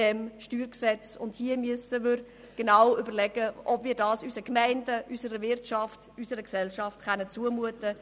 dieses StG. Hier müssen wir uns genau überlegen, ob wir dies unseren Gemeinden, unserer Wirtschaft und unserer Gesellschaft zumuten können.